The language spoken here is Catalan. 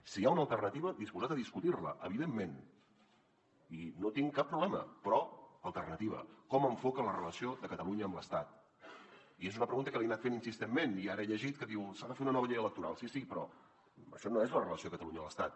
si hi ha una alternativa disposat a discutir la evidentment i no hi tinc cap problema però alternativa com enfoca la relació de catalunya amb l’estat i és una pregunta que li he anat fent insistentment i ara he llegit que diu s’ha de fer una nova llei electoral sí sí però això no és la relació de catalunya amb l’estat